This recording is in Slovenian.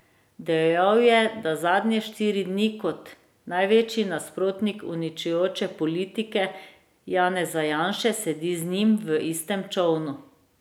Dejal je, da zadnje štiri dni kot največji nasprotnik uničujoče politike Janeza Janše sedi z njim v istem čolnu.